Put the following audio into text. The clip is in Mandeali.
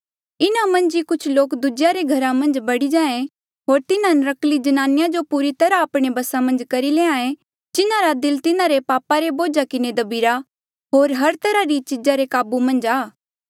इन्हा मन्झ ई कुछ लोक दूजेया रे घरा मन्झ बड़ी जाहें होर तिन्हा नर्क्कली ज्नानिया जो पूरी तरहा आपणे बसा मन्झ करी लैंहां ऐें जिन्हारा दिल तिन्हारे पापा रे बोझा किन्हें दभिरा होर हर तरहा री इच्छा रे काबू मन्झ ऐें